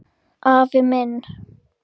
Afi minn